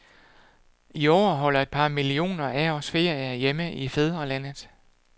I år holder et par millioner af os ferie hjemme i fædrelandet.